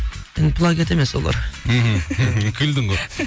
енді плагиат емес олар мхм күлдің ғой